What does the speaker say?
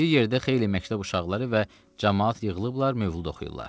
Bir yerdə xeyli məktəb uşaqları və camaat yığılıblar mövlud oxuyurlar.